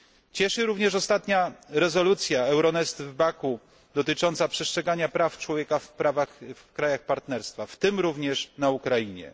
Cieszy również ostatnia rezolucja Euronest przyjęta w Baku, która dotyczy przestrzegania praw człowieka w krajach Partnerstwa, w tym również na Ukrainie.